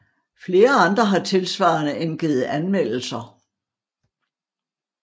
Flere andre har tilsvarende indgivet anmeldelser